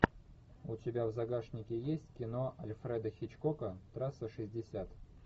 у тебя в загашнике есть кино альфреда хичкока трасса шестьдесят